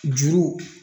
Juru